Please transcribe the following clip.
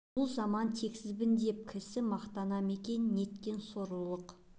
бұл заман тексізбін деп кісі мақтана ма екен неткен сорлылық